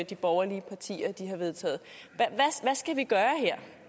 de borgerlige partier vedtager hvad skal vi gøre her